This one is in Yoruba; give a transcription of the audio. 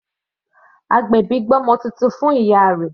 Agbèbí gbé ọmọ titun fún ìyá rẹ̀